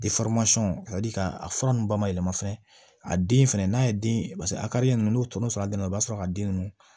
a ka di ka a fura ninnu ba ma yɛlɛma fɛn a den fɛnɛ n'a ye den paseke a ka di ye n'o tɔnɔ sɔrɔla a den na u b'a sɔrɔ a ka den ninnu